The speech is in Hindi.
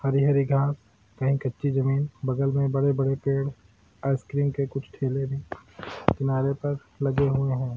हरी-हरी घांस कहीं कच्ची जमीन बगल में बड़े-बड़े पेड़ आइसक्रीम के कुछ ठेले भी किनारे पर लगे हुए हैं ।